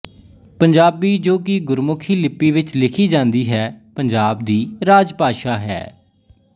ਪੰਜਾਬੀ ਜੋ ਕਿ ਗੁਰਮੁਖੀ ਲਿੱਪੀ ਵਿੱਚ ਲਿਖੀ ਜਾਂਦੀ ਹੈ ਪੰਜਾਬ ਦੀ ਰਾਜਭਾਸ਼ਾ ਹੈ